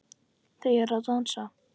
Þau eru að dansa